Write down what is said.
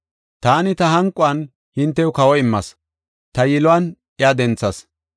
Taani ta hanquwan hintew kawo immas; ta yiluwan iya denthas.